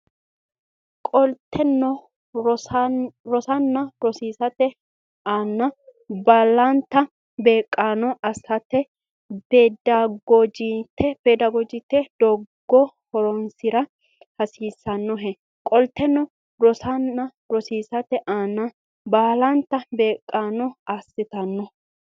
Qolteno rosanna rosiisate aana baalanta beeqqaano assato a ta peedagoojitte doogo horonsi ra hasiissannohe Qolteno rosanna rosiisate aana baalanta beeqqaano assato a ta.